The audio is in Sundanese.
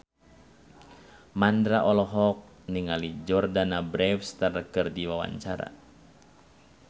Mandra olohok ningali Jordana Brewster keur diwawancara